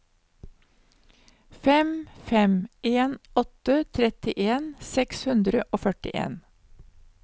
fem fem en åtte trettien seks hundre og førtien